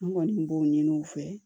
N kɔni b'o ɲini u fɛ